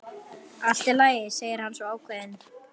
Allt í lagi, segir hann svo ákveðinn.